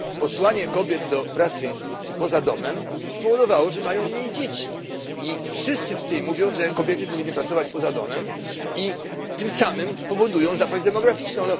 Posłanie kobiet do pracy poza domem spowodowało, że mają one mniej dzieci. I wszyscy tutaj mówią, że kobiety powinny pracować poza domem, i tym samym powodują zapaść demograficzną.